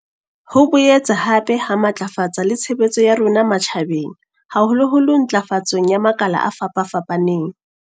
Ho boetse hape ha matlafatsa le tshebetso ya rona matjha beng haholoholo ntlafatsong ya makala a fapafapaneng.